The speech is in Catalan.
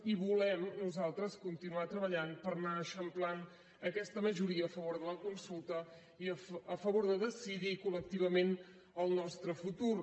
i volem nosaltres continuar treballant per anar eixamplant aquesta majoria a favor de la consulta i a favor de decidir coltre futur